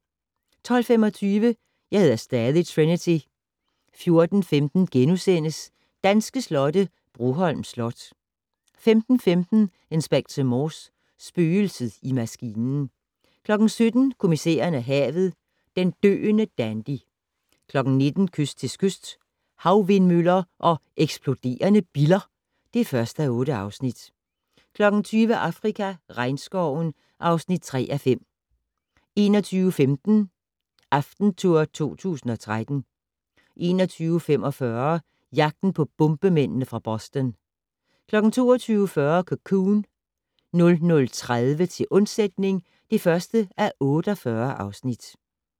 12:25: Jeg hedder stadig Trinity 14:15: Danske slotte - Broholm Slot (3:4)* 15:15: Inspector Morse: Spøgelset i maskinen 17:00: Kommissæren og havet: Den døende dandy 19:00: Kyst til kyst - Havvindmøller og eksploderende biller (1:8) 20:00: Afrika - regnskoven (3:5) 21:15: AftenTour 2013 21:45: Jagten på bombemændene fra Boston 22:40: Cocoon 00:30: Til undsætning (1:48)